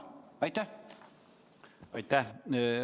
Aitäh!